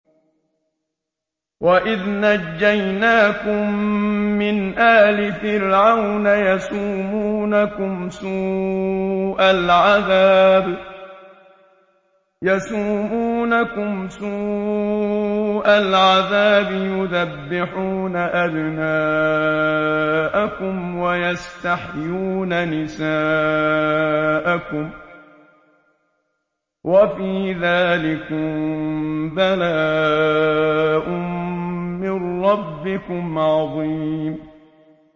وَإِذْ نَجَّيْنَاكُم مِّنْ آلِ فِرْعَوْنَ يَسُومُونَكُمْ سُوءَ الْعَذَابِ يُذَبِّحُونَ أَبْنَاءَكُمْ وَيَسْتَحْيُونَ نِسَاءَكُمْ ۚ وَفِي ذَٰلِكُم بَلَاءٌ مِّن رَّبِّكُمْ عَظِيمٌ